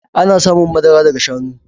Ana samun madara daga shanu